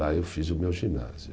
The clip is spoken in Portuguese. Lá eu fiz o meu ginásio.